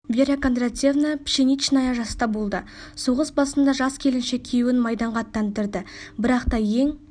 вера кондратьевна пшеничная жаста болды соғыс басында жас келіншек күйеуін майданға аттандырды бірақ та ең